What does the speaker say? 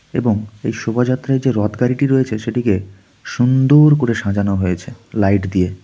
এবং এই শোভাযাত্রায় যে রথ গাড়িটি রয়েছে সেটিকে সুন্দর করে সাজানো হয়েছে লাইট দিয়ে .